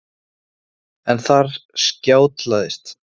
Þannig að allt í allt eru geta þessi litlu dýr teygt nokkuð langt úr sér.